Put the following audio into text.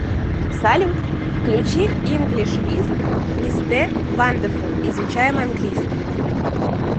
салют включи инглиш виз мисте вандефул изучаем английский